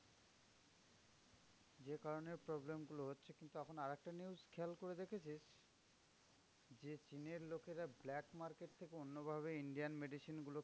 যে কারণে program গুলো হচ্ছে কিন্তু এখন আরেকটা জিনিস খেয়াল করে দেখেছিস? যে চীনের লোকেরা black market থেকে অন্য ভাবে Indian medicine গুলো